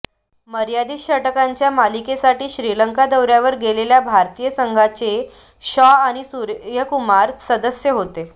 मर्यादीत षटकांच्या मालिकेसाठी श्रीलंका दौऱ्यावर गेलेल्या भारतीय संघाचे शॉ आणि सूर्यकुमार सदस्य होते